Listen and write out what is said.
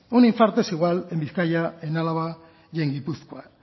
un infarto es igual en bizkaia en álava y en gipuzkoa